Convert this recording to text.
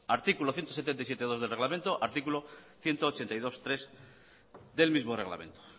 artículo ciento diecisiete punto dos del reglamento artículo ciento ochenta y dos punto tres del mismo reglamento